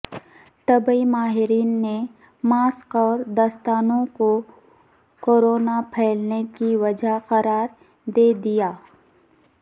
طبی ماہرین نے ماسک اور دستانوں کو کوروناپھیلانے کی وجہ قرار دیدیا